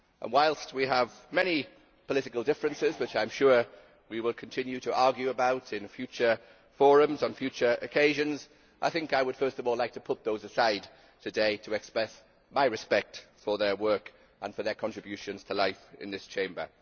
Whilst we have many political differences which I am sure we will continue to argue about in future forums on future occasions, I think I would like first of all to put those aside today to express my respect for their work and for their contributions to life in this Chamber.